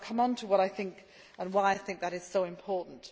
I will come on to what I think and why I think that is so important.